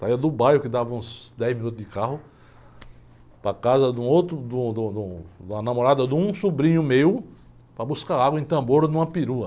Saia do bairro, que dava uns dez minutos de carro, para a casa de um outro, de um, de um, de um, de uma namorada de um sobrinho meu, para buscar água em tambor numa perua.